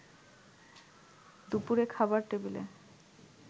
দুপুরে খাবার টেবিলে